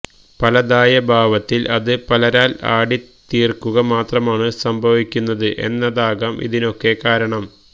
പലതായ ഭാവത്തിൽ അത് പലരാൽ ആടിത്തീർക്കുക മാത്രമാണ് സംഭവിക്കുന്നത് എന്നതാകാം ഇതിനൊക്കെ കാരണം